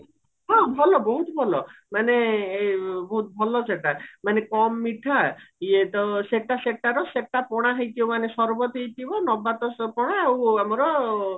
ହଁ ଭଲ ବହୁତ ଭଲ ମାନେ ବହୁତ ଭଲ ସେଟା ମାନେ କମ ମିଠା ଇଏତ ସେଟା ସେଟାର ସେଟା ପଣା ହେଇଥିବ ମାନେ ସର୍ବତ ହେଇଥିବ ନବାତ ସ ପଣା ଆଉ ଆମର